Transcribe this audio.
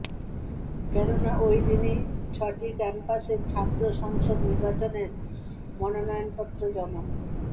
কেননা ওইদিনই ছটি ক্যাম্পাসের ছাত্র সংসদ নির্বাচনের মনোনয়নপত্র জমা